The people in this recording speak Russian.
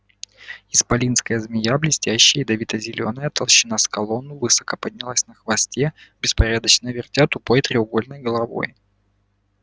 исполинская змея блестящая ядовито-зелёная толщина с колонну высоко поднялась на хвосте беспорядочно вертя тупой треугольной головой